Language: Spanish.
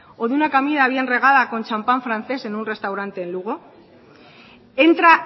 o de una comida bien regada con champan francés en un restaurante en lugo entra